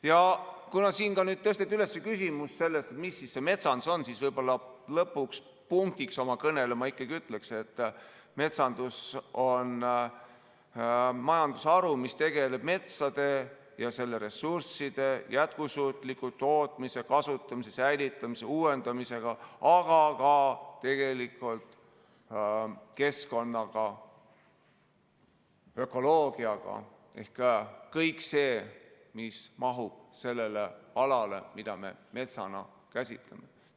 Ja kuna siin tõsteti üles küsimus, mis see metsandus on, siis võib-olla lõpuks, punktiks oma kõnele ma ikkagi ütlen, et metsandus on majandusharu, mis tegeleb metsade ja selle ressursside jätkusuutliku tootmise, kasutamise, säilitamise, uuendamisega, aga ka keskkonnaga, ökoloogiaga, ehk kõik see, mis mahub sellele alale, mida me metsana käsitleme.